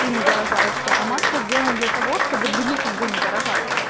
ты не заражаешься а маска сделана для того чтобы других людей не заражать